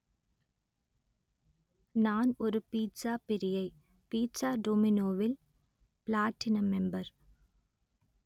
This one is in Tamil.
நான் ஒரு பீட்ஸாப் பிரியை பீட்ஸா டோமினோவில் பிளாட்டினம் மெம்பர்